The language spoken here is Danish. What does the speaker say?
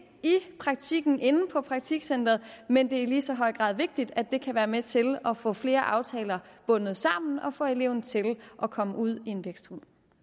i praktikken og inde på praktikcentrene men det er i lige så høj grad vigtigt at det kan være med til at få flere aftaler bundet sammen og få eleven til at komme ud i en